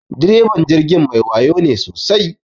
Direban jirgin mai wayo ne sosai.